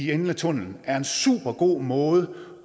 enden af tunnelen er en super god måde